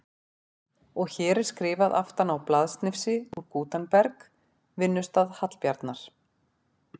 Og hér er skrifað aftan á blaðsnifsi úr Gutenberg, vinnustað Hallbjarnar